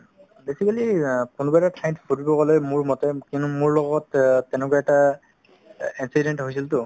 basically অ কোনোবা এটা ঠাইত ফুৰিব গ'লে মোৰ মতে কিন্তু মোৰ লগত অ তেনেকুৱা এটা এক~ accident হৈছিলতো